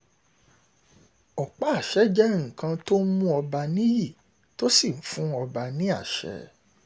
ọ̀pá àṣẹ jẹ́ nǹkan tó ń mú ọba níyì tó sì ń fún ọba ní àṣẹ